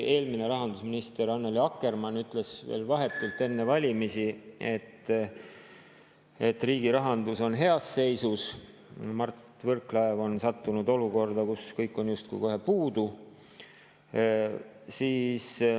Eelmine rahandusminister Annely Akkermann ütles veel vahetult enne valimisi, et riigi rahandus on heas seisus, aga Mart Võrklaev on sattunud olukorda, kus kõike on justkui kohe puudu.